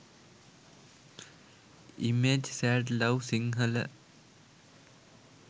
image sad love sinhala